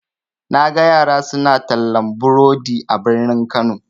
Naga yara suna tallan burodi a birni kano.